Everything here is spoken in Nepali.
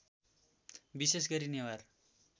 विशेष गरी नेवार